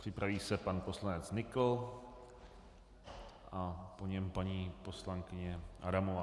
Připraví se pan poslanec Nykl a po něm paní poslankyně Adamová.